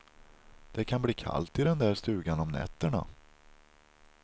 Det kan bli kallt i den där stugan om nätterna.